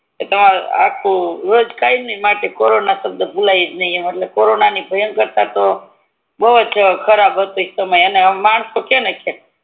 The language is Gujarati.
ઈ આખું રોજ કાયમી માટે કોરોના સબદ ભૂલેજ નય એટલે કોરોના ની ભયાનક તા તો બૌ જ ખરાબ હતી એમ પેલાના માણસો તો